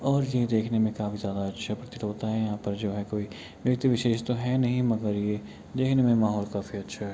और ये देखने में काफी ज्यादा अच्छा प्रतीत होता है। यहाँ पर जो हे कोई व्यक्ति विशेष तो है नहीं मगर ये देखने में माहोल काफी अच्छा है।